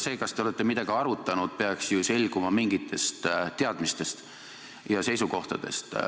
See, kas te olete midagi arutanud, peaks ju selguma ka mingitest teadmistest ja seisukohtadest.